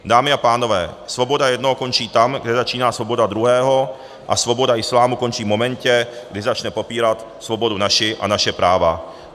Dámy a pánové, svoboda jednoho končí tam, kde začíná svoboda druhého, a svoboda islámu končí v momentě, kdy začne popírat svobodu naši a naše práva.